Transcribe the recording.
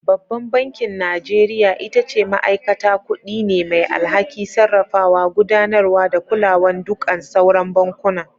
Babban bankin Najeriya ita ce ma'aikata kuɗi ne mai alhaki, sarrafawa, gudanarwa da kulawan duƙan sauran bankuna.